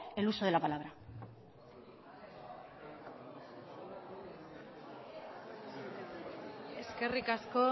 el uso de la palabra eskerrik asko